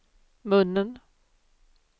munnen